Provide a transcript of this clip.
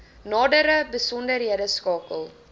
nadere besonderhede skakel